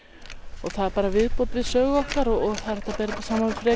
og það er bara viðbót við sögu okkar og það er hægt að